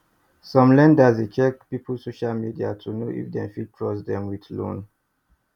some lenders dey check people social media to know if dem fit trust dem with loan